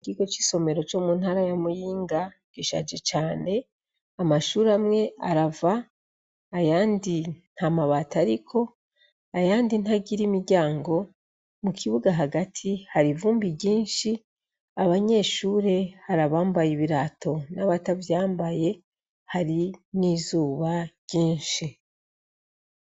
Ikigo c'isomero co mu ntara ya muyinga gishaje cane amashure amwe arava ayandi nta mabato, ariko ayandi ntagira imiryango mu kibuga hagati hari ivumbi ryinshi abanyeshure harabambaye ibirato n'abatavyambaye hari n'izuba ryinshi.